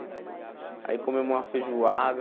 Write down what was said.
Aí comemos uma feijoada.